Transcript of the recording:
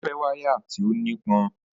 O fẹ́ wáyà tí ó nípọn